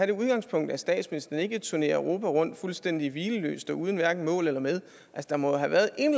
det udgangspunkt at statsministeren ikke turnerer europa rundt fuldstændig hvileløst og uden hverken mål eller med der må jo have været